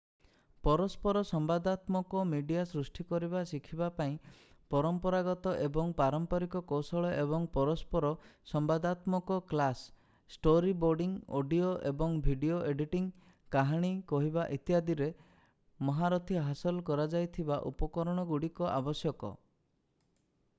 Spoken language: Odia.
ପରସ୍ପର ସମ୍ବାଦାତ୍ମକ ମିଡିଆ ସୃଷ୍ଟି କରିବା ଶିଖିବା ପାଇଁ ପରମ୍ପରାଗତ ଏବଂ ପାରମ୍ପାରିକ କୌଶଳ ଏବଂ ପରସ୍ପର ସମ୍ବାଦାତ୍ମକ କ୍ଲାସ୍ ଷ୍ଟୋରୀବୋର୍ଡିଂ ଅଡିଓ ଏବଂ ଭିଡିଓ ଏଡିଟିଂ କାହାଣୀ କହିବା ଇତ୍ୟାଦି ରେ ମହାରଥୀ ହାସଲ କରାଯାଇଥିବା ଉପକରଣଗୁଡ଼ିକ ଆବଶ୍ୟକ।